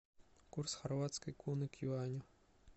курс хорватской куны к юаню